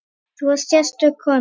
Þú varst sérstök kona.